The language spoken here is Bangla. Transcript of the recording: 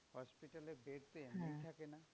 Hospital এ bed তো এমনি থাকে না।